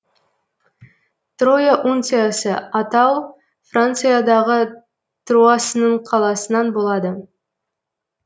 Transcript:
троя унциясы атау франциядағы труасының қаласынан болады